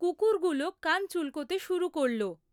কুকুরগুলো কান চুলকোতে শুরু করল।